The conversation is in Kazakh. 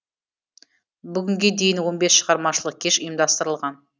бүгінге дейін он бес шығармашылық кеш ұйымдастырылған